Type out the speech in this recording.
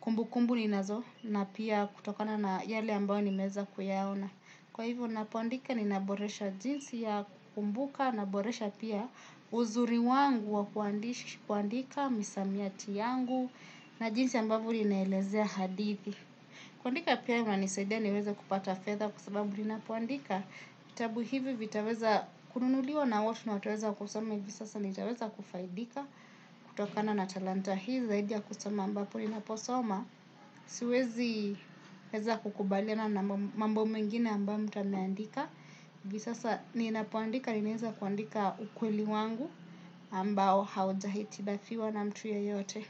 kumbukumbu ninazo na pia kutokana na yale ambayo nimeweza kuyaona. Kwa hivyo ninapoandika ninaboresha jinsi ya kukumbuka naboresha pia uzuri wangu wa kuandika misamiati yangu na jinsi ambavyo ninaelezea hadithi. Kuandika pia inanisaidia niweza kupata fedha kwa sababu ninapoandika. Vitabu hivi vitaveza kununuliwa na watu na wataweza kusoma hivi sasa na nitaweza kufaidika kutokana na talanta hii zaidi ya kusoma ambapo ninaposoma. Siwezi weza kukubaliana mambo mengine ambao mtu ameandika. Hivi sasa ninapoandika ninaweza kuandika ukweli wangu ambao haujahitilafiwa na mtu yeyote.